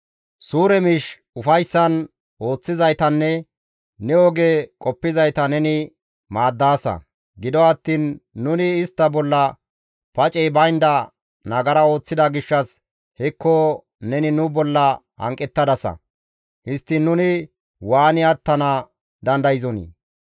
Suure miish ufayssan ooththizaytanne ne oge qoppizayta neni maaddaasa; gido attiin nuni istta bolla pacey baynda nagara ooththida gishshas hekko neni nu bolla hanqettadasa; histtiin nuni waani attana dandayzonii?